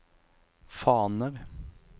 faner